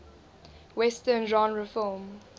western genre film